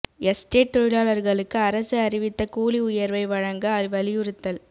estate தொழிலாளா்ளுக்கு அரசு அறிவித்த கூலி உயா்வை வழங்க வலியுறுத்தல்